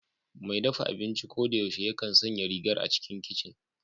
Mai dafa abinci ko da yaushe yakan sanya rigar a cikin kicin